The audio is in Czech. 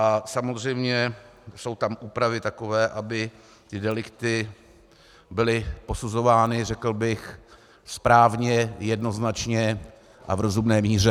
A samozřejmě jsou tam úpravy takové, aby ty delikty byly posuzovány, řekl bych, správně, jednoznačně a v rozumné míře.